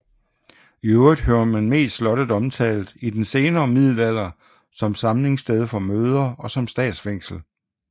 I øvrigt hører man mest slottet omtalt i den senere middelalder som samlingssted for møder og som statsfængsel